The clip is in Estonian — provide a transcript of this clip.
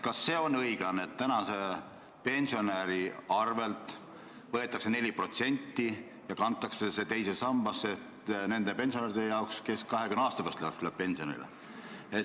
Kas on õiglane, et tänase pensionäri arvelt võetakse 4% ja kantakse see teise sambasse nende pensionäride jaoks, kes 20 aasta pärast pensionile lähevad?